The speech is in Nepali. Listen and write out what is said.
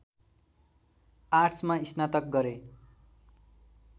आर्ट्समा स्नातक गरे